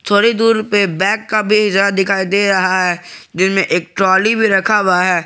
थोड़ी दूर पे बैक का वीजा दिखाई दे रहा है जिनमें एक ट्राली भी रखा हुआ है।